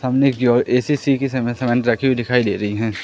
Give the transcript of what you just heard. सामने की ओर ए_सी_सी की सीमेंट हमें रखी हुई दिखाई दे रही है।